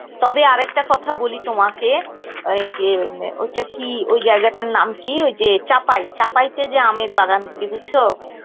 তবে আরেকটা কথা বলি তোমাকে ওই যে ওটা কি ওই জায়গাটার নাম কি ওই যে চাপাই চাঁপাইতে যে আমের বাগান গুলি বুঝছো